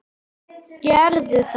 Gerðu það: